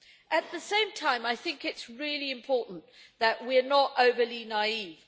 At the same time, I think it's really important that we are not overly naive.